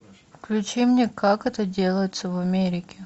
включи мне как это делается в америке